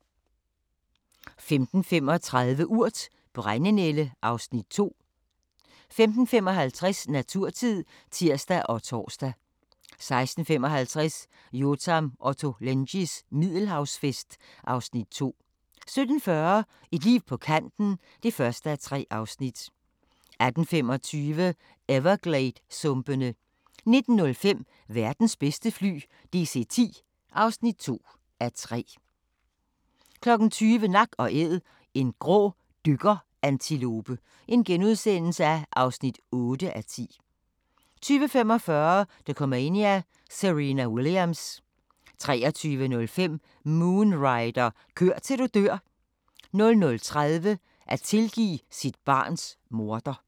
15:35: Urt: Brændenælde (Afs. 2) 15:55: Naturtid (tir og tor) 16:55: Yotam Ottolenghis Middelhavsfest (Afs. 2) 17:40: Et liv på kanten (1:3) 18:25: Evergladessumpene 19:05: Verdens bedste fly – DC-10 (2:3) 20:00: Nak & Æd – en grå dykkerantilope (8:10)* 20:45: Dokumania: Serena Williams 23:05: Moon Rider – kør til du dør 00:30: At tilgive sit barns morder